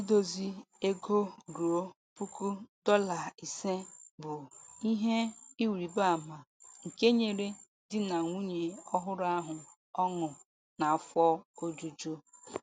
Idozi ego ruo puku dọla ise bụ ihe ịrịbaama nke nyere di na nwunye ọhụrụ ahụ ọṅụ na afọ ojuju.